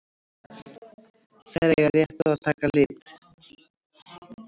Þær eiga rétt að taka lit.